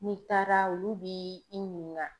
N'i taara olu b'i i ɲininka.